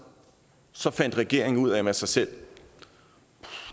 så fandt regeringen ud af med sig selv at